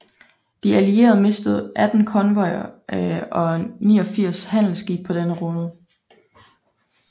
De Allierede mistede 18 konvojer og 89 handelsskibe på denne rute